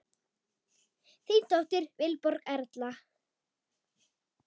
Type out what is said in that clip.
Þín dóttir, Vilborg Erla.